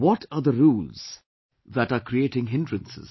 What are the rules that are creating hindrances